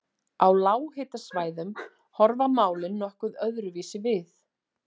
Á lághitasvæðum horfa málin nokkuð öðruvísi við.